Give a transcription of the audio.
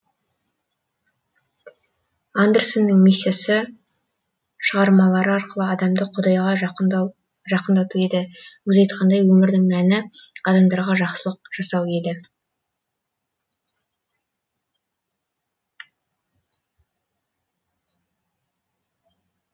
андерсеннің миссиясы шығармалары арқылы адамды құдайға жақындату еді өзі айтқандай өмірдің мәні адамдарға жақсылық жасау еді